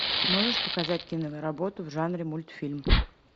можешь показать киноработу в жанре мультфильм